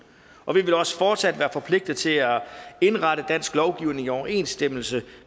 og vi vil også fortsat være forpligtet til at indrette dansk lovgivning i overensstemmelse